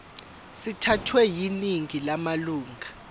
sithathwe yiningi lamalunga